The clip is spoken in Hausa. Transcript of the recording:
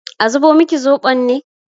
A zubo miki zoɓon ne?